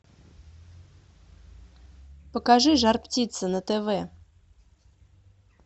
покажи жар птица на тв